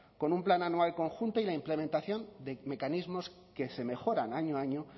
con un plan anual conjunto y la implementación de mecanismos que se mejoran año a año